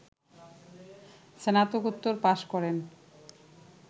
স্নাতকোত্তর পাস করেন